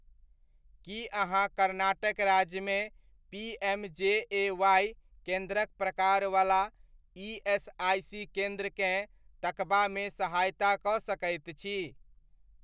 की अहाँ कर्नाटक राज्यमे पी.एम.जे.ए.वाइ. केन्द्रक प्रकारवला ईएसआइसी केन्द्रकेँ तकबामे सहायता कऽ सकैत छी?